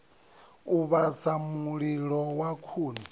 u vhasa mililo wa khuni